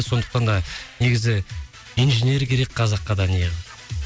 сондықтан да негізі инженер керек қазаққа